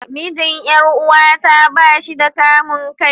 Mijin Yar'uwata ba shi da kamun kai.